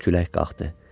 Külək qalxdı.